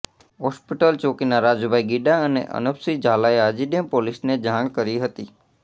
hospital ચોકીના રાજુભાઇ ગીડા અને અનોપસિંહ ઝાલાએ આજીડેમ પોલીસને જાણ કરી હતી